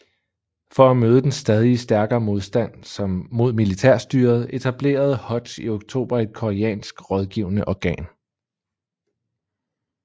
For at møde den stadig stærkere modstand mod militærstyret etablerede Hodge i oktober et koreansk rådgivende organ